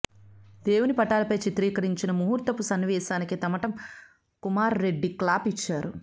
దేవుని పటాలపై చిత్రీకరించిన ముహూర్తపు సన్నివేశానికి తమటం కుమార్ రెడ్డి క్లాప్ ఇచ్చారు